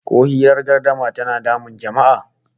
Ko hirar gardama tana damun jama'a?